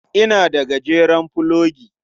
Ina da gajeren fulogi.